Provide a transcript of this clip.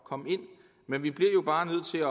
komme ind men vi bliver jo bare nødt til